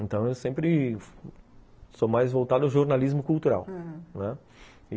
Então eu sempre sou mais voltado ao jornalismo cultural, aham, não é?